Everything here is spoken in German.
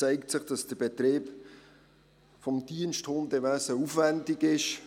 Der Betrieb des Diensthundewesens ist aufwendig.